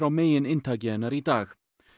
megininntaki hennar í dag